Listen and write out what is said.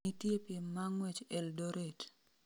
nitie piem ma ng'wech eldoret